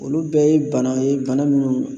Olu bɛɛ ye bana ye, bana minnu